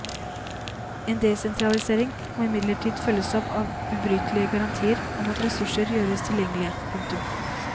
En desentralisering må imidlertid følges opp av ubrytelige garantier om at ressurser gjøres tilgjengelige. punktum